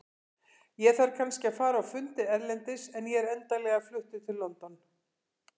Ég þarf kannski að fara á fundi erlendis en ég er endanlega fluttur til London.